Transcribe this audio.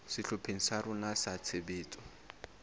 sehlopheng sa rona sa tshebetso